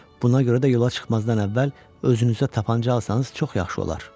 Buna görə də yola çıxmazdan əvvəl özünüzə tapanca alsanız çox yaxşı olar.